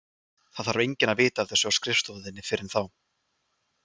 Það þarf enginn að vita af þessu á skrifstofu þinni fyrr en þá.